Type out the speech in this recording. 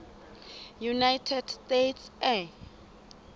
united states air